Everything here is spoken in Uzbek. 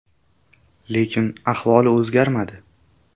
Lekin ahvoli o‘zgarmadi.